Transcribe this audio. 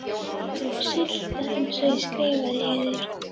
Sulta, eins og ég skrifaði yður.